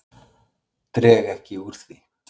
Dreg ekki úr því.